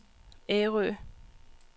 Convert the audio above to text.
Ærø